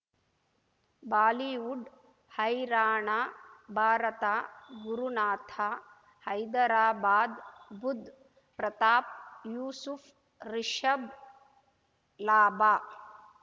Bollywood ಹೈರಾಣ ಭಾರತ ಗುರುನಾಥ ಹೈದರಾಬಾದ್ ಬುಧ್ ಪ್ರತಾಪ್ ಯೂಸುಫ್ ರಿಷಬ್ ಲಾಭ